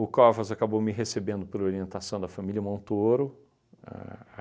Covas acabou me recebendo por orientação da família Montoro. Ahn a